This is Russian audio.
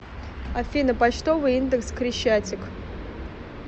афина почтовый индекс крещатик